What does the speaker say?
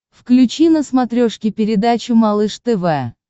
включи на смотрешке передачу малыш тв